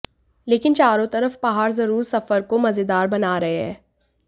लेकिन चारों तरफ पहाड़ जरूर सफर को मजेदार बना रहे हैं